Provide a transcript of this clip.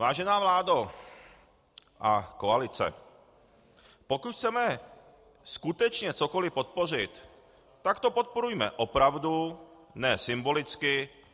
Vážená vládo a koalice, pokud chceme skutečně cokoli podpořit, tak to podporujme opravdu, ne symbolicky.